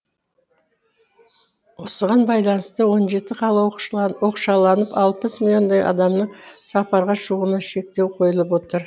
осыған байланысты он жеті қала оқшауланып алпыс миллиондай адамның сапарға шығуына шектеу қойылып отыр